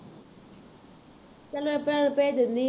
ਚੱਲ ਮੈਂ ਭਰਾ ਨੂੰ ਂਭੇਜ ਦਿੰਦੀ ਹਾਂ